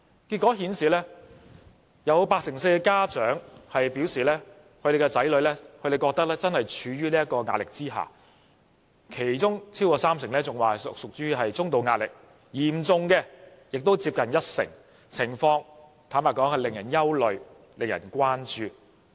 結果顯示，有八成四受訪家長表示，他們的子女正處於壓力之下，其中超過三成屬於中度壓力，嚴重的亦接近一成；坦白說，情況實在令人憂慮和關注。